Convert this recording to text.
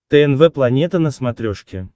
тнв планета на смотрешке